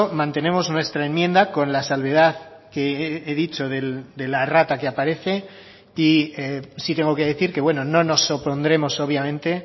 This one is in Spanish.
mantenemos nuestra enmienda con la salvedad que he dicho de la errata que aparece y sí tengo que decir que bueno no nos opondremos obviamente